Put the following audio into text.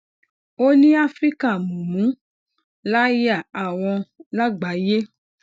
ó ní àfíríkà mumu laya awon lágbàáyé